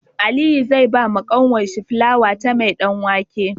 Aliyu zai bawa kanwar shi fulawa ta mai dan wake